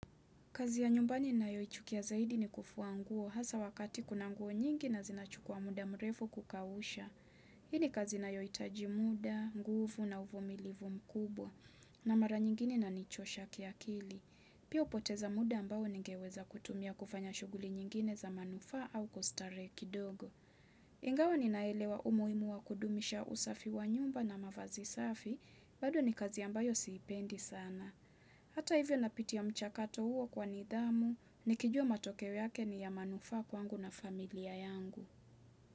Kazi ya nyumbani ninayoichukia zaidi ni kufua nguo hasa wakati kuna nguo nyingi na zinachukua muda mrefu kukausha. Hii ni kazi inayohitaji muda, nguvu na uvumilivu mkubwa na mara nyingine inanichosha kiakili. Pia upoteza muda ambao ningeweza kutumia kufanya shughuli nyingine za manufaa au kustarehe kidogo. Ingawa ninaelewa umuhimu wa kudumisha usafi wa nyumba na mavazi safi, bado ni kazi ambayo sana. Hata hivyo napitia mchakato huo kwa nidhamu, nikijua matokeo yake ni ya manufaa kwangu na familia yangu.